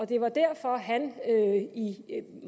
det var derfor han